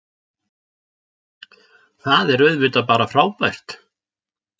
Það er auðvitað bara frábært